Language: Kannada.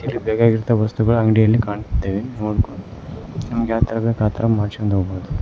ಇಲ್ಲ ಬೇಕಾಗಿರಂತ ವಸ್ತುಗಳು ಅಂಗಡಿಯಲ್ಲಿ ಕಾಣಿಸುತ್ತದೆ ನಿಮಗೆ ಯಾವ ತರ ಬೇಕ್ ಆತರ ಮಾಡಿಸಿಕೊಂಡು ಹೋಗ್ಬೋದು.